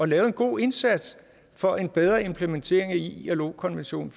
lave en god indsats for en bedre implementering af ilo konvention